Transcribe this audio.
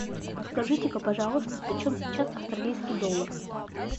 подскажите ка пожалуйста почем сейчас австралийский доллар